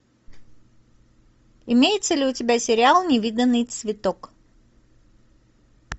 имеется ли у тебя сериал невиданный цветок